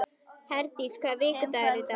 Herdís, hvaða vikudagur er í dag?